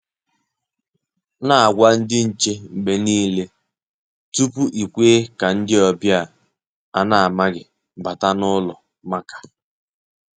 Nà-ágwà ndị́ nchè mgbe nìile, tupu ị́ kwè kà ndị́ ọ́bị̀à à na-àmághị̀ bàtá n’ụ́lọ̀ màkà.